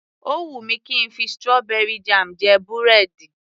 Ó wù mí kí ń fi strawberry jam jẹ búrẹ́dì